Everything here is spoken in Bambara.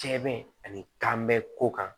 Jɛn ani kanbɛ ko kan